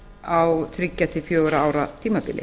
á þriggja til fjögurra ára tímabili